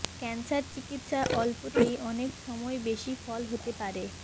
cancer চিকিৎসায় অল্পতেই অনেক সময় বেশি ফল হতে পারে